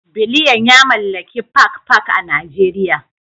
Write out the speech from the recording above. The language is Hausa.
Biliyan ya mallaki Park Park a Najeriya